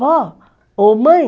Vó, ô mãe...